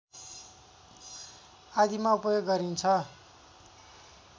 आदिमा उपयोग गरिन्छ।